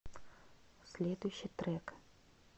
следующий трек